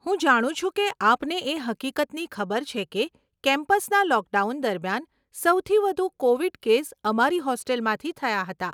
હું જાણું છું કે આપને એ હકીકતની ખબર છે કે કેમ્પસના લોકડાઉન દરમિયાન, સૌથી વધુ કોવીડ કેસ અમારી હોસ્ટેલમાંથી થયાં હતાં.